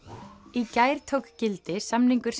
í gær tók gildi samningur